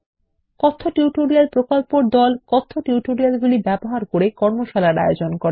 কথ্য টিউটোরিয়াল প্রকল্পর দল কথ্য টিউটোরিয়ালগুলি ব্যবহার করে কর্মশালার আয়োজন করে